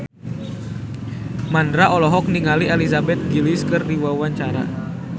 Mandra olohok ningali Elizabeth Gillies keur diwawancara